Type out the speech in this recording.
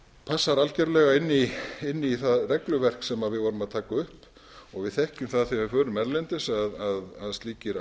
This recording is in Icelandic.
passar algerlega inn í það regluverk sem við vorum að taka upp og við þekkjum það þegar við förum erlendis að slíkir